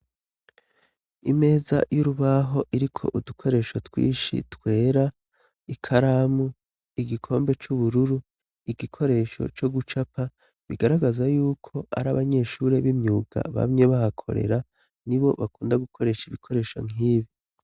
Imeza y'urubaho iriko udukoresho twishi twera, ikaramu, igikombe c'ubururu, igikoresho co gucapa, bigaragaza yuko ari abanyeshuri b'imyuga bamye bahakorera nibo bakunda gukoresha ibikoresho nk'ibi.